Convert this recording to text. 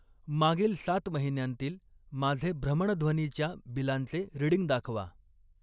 मागील सात महिन्यांतील माझे भ्रमणध्वनीच्या बिलांचे रीडिंग दाखवा.